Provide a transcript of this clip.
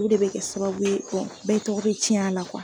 U de be kɛ sababu ye bɛɛ tɔgɔ be tiɲ'a la .